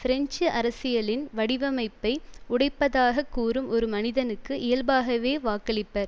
French அரசியலின் வடிவமைப்பை உடைப்பதாகக் கூறும் ஒரு மனிதனுக்கு இயல்பாகவே வாக்களிப்பர்